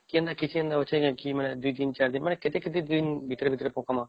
କେନା କିଛି ଦିନ ଦୁଇ ନ ଚାର ଦିନ ମାନେ କେତେ କେତେ ଦିନ ଭିତରେ ଭିତରେ ପକଵା